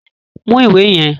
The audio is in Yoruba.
Mú ìwé yẹn!